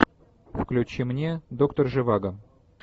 включи мне доктор живаго